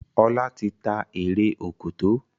Ola tí tá Eré Òkòtó.